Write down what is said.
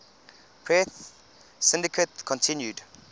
press syndicate continued